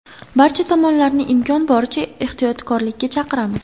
Barcha tomonlarni imkon boricha ehtiyotkorlikka chaqiramiz.